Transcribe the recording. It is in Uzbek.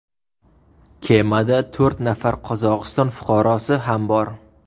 Kemada to‘rt nafar Qozog‘iston fuqarosi ham bor .